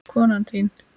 Konan þín?